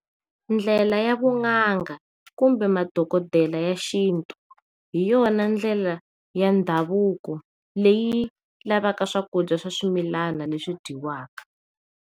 Ndlela ya vun'anga kumbe madokodela ya xintu hiyona ndlela ya ndhavuko leyi lavaka swakudya swa swimila leswi dyiwaka.